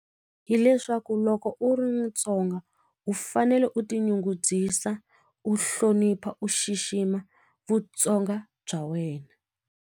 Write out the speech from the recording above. Hi leswaku loko u ri mutsonga u fanele u tinyungubyisa u hlonipha u xixima vutsonga bya wena.